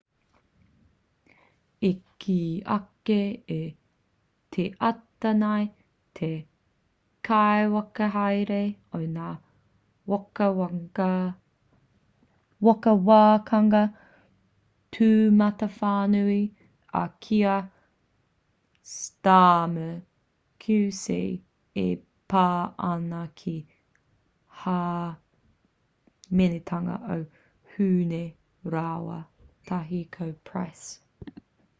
i kī ake i te ata nei te kaiwhakahaere o ngā whakawākanga tūmatawhānui a kier starmer qc e pā ana ki te hāmenetanga o huhne rāua tahi ko pryce